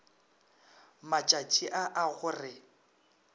matšaši a a go re